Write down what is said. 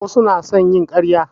Wasu na son yin ƙarya